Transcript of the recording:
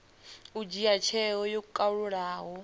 u dzhia tsheo yo kalulaho